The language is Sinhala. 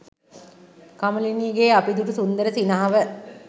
කමලිනීගේ අපි දුටු සුන්දර සිනහව